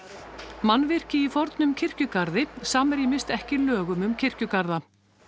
mannvirki í fornum kirkjugarði samrýmist ekki lögum um kirkjugarða